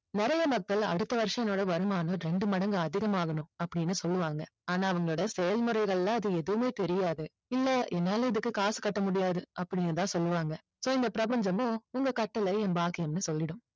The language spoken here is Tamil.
நிறைய மக்கள் அடுத்த வருஷம் என்னோட வருமானம் இரண்டு மடங்கு அதிகமாகணும் அப்படின்னு சொல்லுவாங்க ஆனா அவங்களோட செயல்முறைகளில அது எதுவுமே தெரியாது இல்ல என்னால இதுக்கு காசு கட்ட முடியாது அப்படின்னு தான் சொல்லுவாங்க சரி இந்த பிரபஞ்சமோ உங்க கட்டளை என் பாக்கியன்னு சொல்லிடும்